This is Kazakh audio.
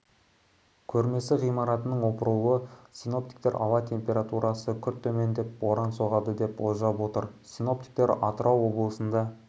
көрмесі ғимаратының опырылуы синоптиктер ауа температурасы күрт төмендеп боран соғады деп болжап отыр синоптиктер атырау облысында